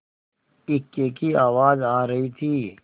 इक्के की आवाज आ रही थी